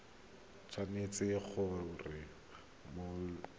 tshwanetse gore mo malatsing a